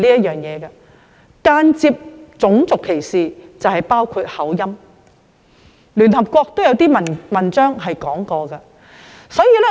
間接種族歧視包括口音，而聯合國亦曾發表文章提及這一點。